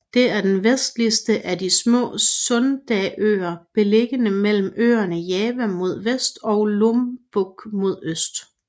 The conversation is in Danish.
Det er den vestligste af de små Sundaøer beliggende mellem øerne Java mod vest og Lombok mod øst